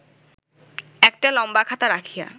একটা লম্বা খাতা রাখিয়া